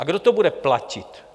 A kdo to bude platit?